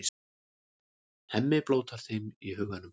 Hemmi blótar þeim í huganum.